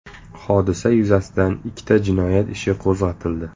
Hodisa yuzasidan ikkita jinoyat ishi qo‘zg‘atildi.